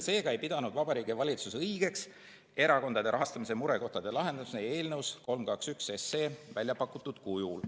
Seega ei pidanud Vabariigi Valitsus õigeks erakondade rahastamise murekohtade lahendamist eelnõus 321 väljapakutud kujul.